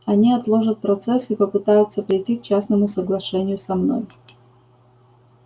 они отложат процесс и попытаются прийти к частному соглашению со мной